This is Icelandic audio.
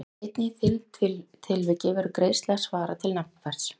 Einnig í því tilviki verður greiðsla að svara til nafnverðs.